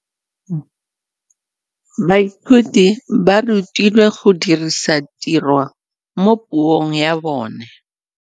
Baithuti ba rutilwe go dirisa tirwa mo puong ya bone.